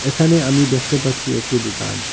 এখানে আমি দেখতে পাচ্ছি একটি দুকান ।